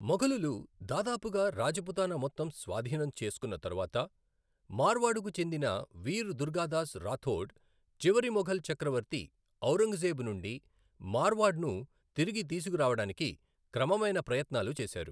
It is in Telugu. మొఘలులు దాదాపుగా రాజపుతానా మొత్తం స్వాధీనం చేసుకున్న తరువాత, మార్వాడుకు చెందిన వీర్ దుర్గాదాస్ రాథోడ్ చివరి మొఘల్ చక్రవర్తి ఔరంగజేబు నుండి మార్వాడ్ను తిరిగి తీసుకురావడానికి క్రమమైన ప్రయత్నాలు చేశారు.